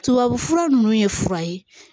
Tubabu fura nunnu ye fura ye